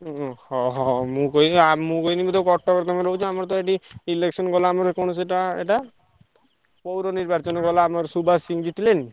ହୁଁ ହୁଁ ହଁ ହଁ ମୁଁ କହିଲି ଆ ମୁଁ କହିଲି ବୋଧେ କଟକରେ ତମେ ରହୁଛ ଆମର ତ ଏଠି election ଗଲା ଆମର ସେ କଣ ସେଇଟା ଏଇଟା? ପୌର ନିର୍ବାଚନ ଗଲା ଆମର ସୁଭାଷ ସିଂ ଜିତିଲେନି?